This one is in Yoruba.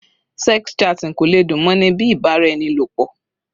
Sex chatting kò lè dùn mọ́ ni bíi ìbáraẹnilọ̀pọ̀.